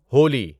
Holi